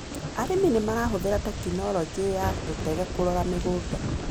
Arĩmi nĩmarahũthĩra tecnologĩ ya tũtege kũrora mũgũnda.